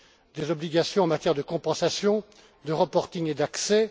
Des obligations en matière de compensation, de reporting et d'accès.